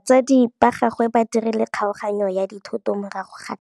Batsadi ba gagwe ba dirile kgaoganyô ya dithoto morago ga tlhalanô.